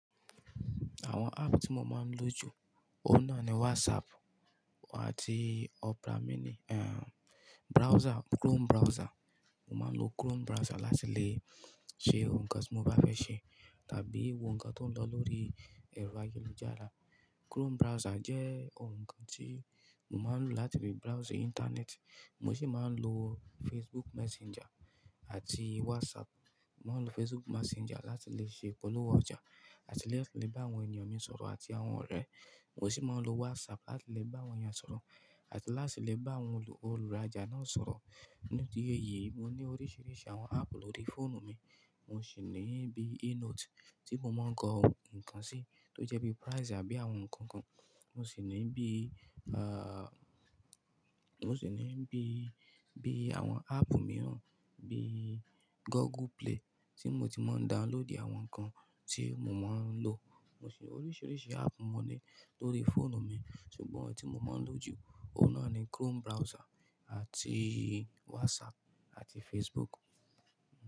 Àwọn app tí mo máa ń lò jù, òun náà ni WhatsApp àti Opera mini, ehn browser, Chrome browser. Mo máa ń lo Chrome browser láti lè ṣe ohun kan tí mo bá fẹ́ ṣe tàbí wo nǹkan tó ń lọ lórí ẹ̀rọ ayélujára. Chrome browser jẹ́ ohun kan tí mo máa ń lò láti fi browse internet. Mo sì máa ń lo Facebook Messenger àti WhatsApp. Mo máa ń lo Facebook Messenger láti lè ṣe ìpolówó ọjà àti láti lè bá àwọn ènìyàn mi sọ̀rọ̀ àti àwọn ọ̀rẹ́. Mo sì máa ń lo WhatsApp láti lè bá àwọn èèyàn sọ̀rọ̀ àti láti lè bá àwọn olùròjà náà sọ̀rọ̀. Nínú ti iyé yìí, mo ní oríṣiríṣi àwọn app lórí fóònù mi. Mo sì ní bí eNote tí mo máa ń kọ nǹkan sí tó jẹ́ bí Prize àbí àwọn nǹkan kan. Mo sì ní bí, ah mo sì ní bí, bí àwọn app mìíràn bí Google Play tí mo ti máa ń download àwọn nǹkan tí mo máa ń lò. Mo sì oríṣiríṣi app mo ní lórí fóònù mi, ṣùgbọ́n ohun tí mo máa ń lò jù, òun náà ni Chrome browser àti WhatsApp àti Facebook.